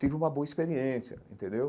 Tive uma boa experiência, entendeu?